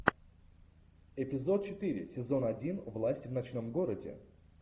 эпизод четыре сезон один власть в ночном городе